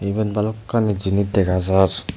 ebot balokkan jinish dega jar.